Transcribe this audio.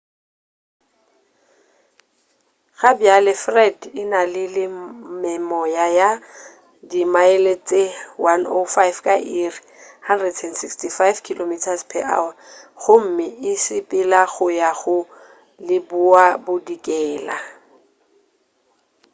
gabjale fred e na le memoya ya dimaele tše 105 ka iri 165 km/h gomme e sepelela go ya leboabodikela